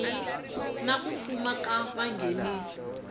na ku fuma ka vanghenisi